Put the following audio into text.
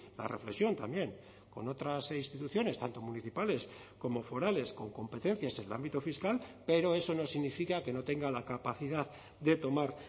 la reflexión también con otras instituciones tanto municipales como forales con competencias en el ámbito fiscal pero eso no significa que no tenga la capacidad de tomar